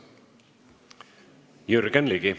Jürgen Ligi.